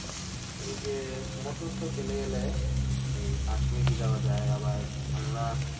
এই যে মোটর সাইকেলে গেলে এই পাঁচ minute এ যাওয়া যায় আবার আমরা